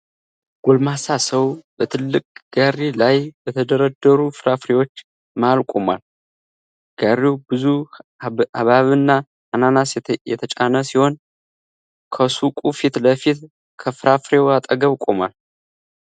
ጎልማሳ ሰው በትልቅ ጋሪ ላይ በተደረደሩ ፍራፍሬዎች መሃል ቆሟል። ጋሪው ብዙ ሐብሐብና አናናስ የተጫነ ሲሆን፣ ከሱቁ ፊት ለፊት ከፍራፍሬው አጠገብ ቆሟል።